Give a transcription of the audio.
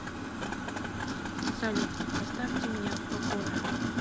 салют оставьте меня в покое